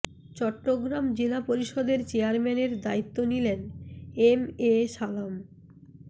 চট্টগ্রাম জেলা পরিষদের চেয়ারম্যানের দায়িত্ব নিলেন এম এ সালাম